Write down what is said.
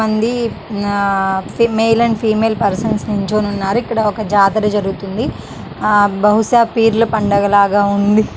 ఉంది ఆ male and female persons నిల్చోని ఉన్నారు.ఇక్కడ ఒక జాతర జరుగుతుంది. ఆ బహుశా పీర్ల పండగ లాగా ఉంది.